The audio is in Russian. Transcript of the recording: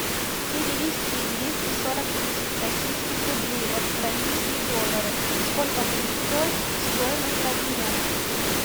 перевести двести сорок тысяч российских рублей в австралийские доллары сколько будет стоить стоимость обмена